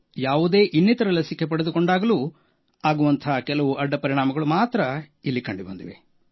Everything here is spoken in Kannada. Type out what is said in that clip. ಯಾವುದೇ ಇನ್ನಿತರ ಲಸಿಕೆ ಪಡೆದುಕೊಂಡಾಗಲೂ ಆಗುವ ಕೆಲವು ಅಡ್ಡಪರಿಣಾಮಗಳು ಮಾತ್ರ ಕಂಡುಬಂದಿವೆ